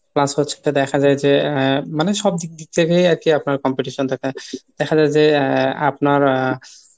Plus হচ্ছে দেখা যায় যে আহ মানে সব দিক দিক থেকে আরকি আপনার competition থাকে। দেখা যায় যে আহ আপনার